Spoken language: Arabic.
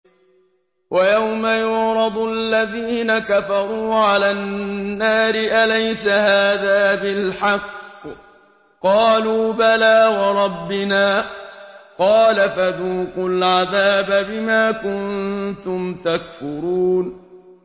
وَيَوْمَ يُعْرَضُ الَّذِينَ كَفَرُوا عَلَى النَّارِ أَلَيْسَ هَٰذَا بِالْحَقِّ ۖ قَالُوا بَلَىٰ وَرَبِّنَا ۚ قَالَ فَذُوقُوا الْعَذَابَ بِمَا كُنتُمْ تَكْفُرُونَ